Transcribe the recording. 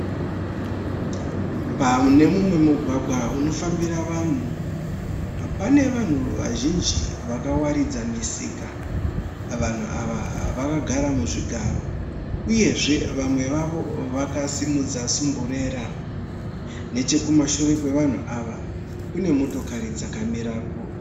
Pane mumwe mugwagwa unofambira vanhu. Pane vanhu vazhinji vakawaridza misika. Vanhu ava vakagara muzvigaro uyezve vamwe vavo vakasimudza sumburera. Nechekumashure kwevanhu ava kune motokari dzakamirako.